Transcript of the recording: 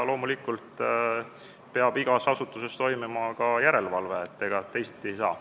Loomulikult peab igas asutuses toimima ka järelevalve, ega teisiti ei saa.